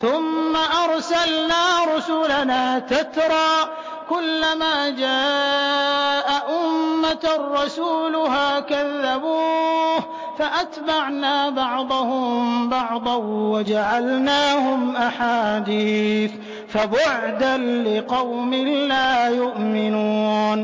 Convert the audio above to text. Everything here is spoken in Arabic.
ثُمَّ أَرْسَلْنَا رُسُلَنَا تَتْرَىٰ ۖ كُلَّ مَا جَاءَ أُمَّةً رَّسُولُهَا كَذَّبُوهُ ۚ فَأَتْبَعْنَا بَعْضَهُم بَعْضًا وَجَعَلْنَاهُمْ أَحَادِيثَ ۚ فَبُعْدًا لِّقَوْمٍ لَّا يُؤْمِنُونَ